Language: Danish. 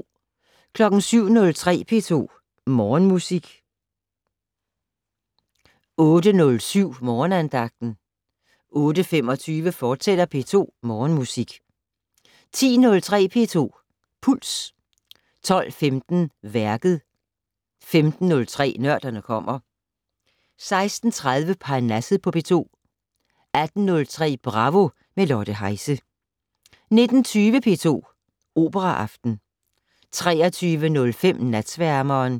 07:03: P2 Morgenmusik 08:07: Morgenandagten 08:25: P2 Morgenmusik, fortsat 10:03: P2 Puls 12:15: Værket 15:03: Nørderne kommer 16:30: Parnasset på P2 18:03: Bravo - med Lotte Heise 19:20: P2 Operaaften 23:05: Natsværmeren